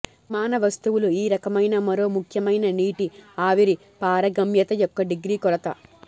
నిర్మాణ వస్తువులు ఈ రకమైన మరో ముఖ్యమైన నీటి ఆవిరి పారగమ్యత యొక్క డిగ్రీ కొలత